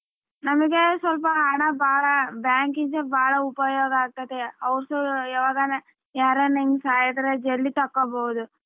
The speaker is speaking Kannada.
ನಮ್ಗೆ ಸ್ವಲ್ಪ ಹಣ ಬಾಳ bank ಗೆ ಬಾಳ ಉಪಯೋಗ ಆಗತೈತೆ ಯಾವಾಗನ ಯಾರನ ಹಿಂಗ್ ಸಾಯಿದ್ರೆ ಜೇಲ್ದಿ ತಕ್ಕಬೋದು.